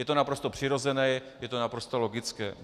Je to naprosto přirozené, je to naprosto logické.